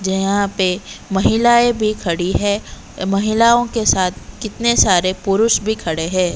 जहां पे महिलाएं भी खड़ी है महिलाओं के साथ कितने सारे पुरुष भी खड़े हैं।